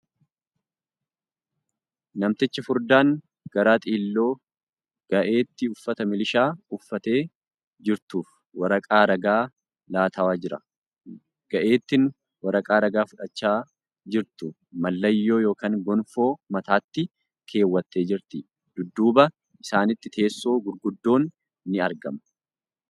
Namtichi furdaan garaa xiilloo ga'eettii uffata milishaa uffattee jirtuuf waraqaa ragaa laataw jira . Ga'eettiin waraqaa ragaa fudhachaa jirtu mallayyoo ( gonfoo ) mataatti keewwattee jirti. Dudduuba isaaniitti teessoo gurguddoon ni argama.